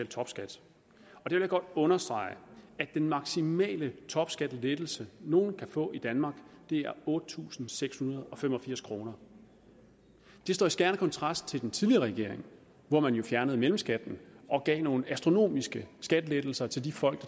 topskat jeg vil godt understrege at den maksimale topskattelettelse nogen kan få i danmark er otte tusind seks hundrede og fem og firs kroner det står i skærende kontrast til den tidligere regering hvor man jo fjernede mellemskatten og gav nogle astronomiske skattelettelser til de folk